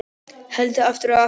Heldur aftur og aftur.